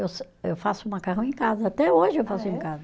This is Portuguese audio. Eu se, eu faço macarrão em casa, até hoje eu faço em casa.